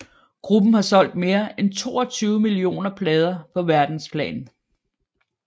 Gruppen har solgt mere end 22 millioner plader på verdensplan